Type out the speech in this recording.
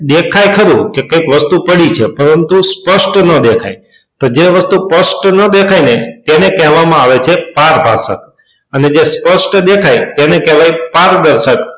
દેખાય ખરુ કે કોઈ વસ્તુ પડી છે પરંતુ સ્પષ્ટ ન દેખાય તો જે વસ્તુ સ્પષ્ટ ન દેખાય એને કહેવામાં આવે છે પારભાષક અને જે સ્પષ્ટ દેખાય તેને કહેવાય પારદર્શક.